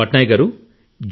పట్నాయక్ గారూ